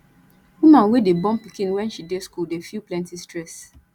woman wey dey born pikin wen she dey skool dey feel plenty stress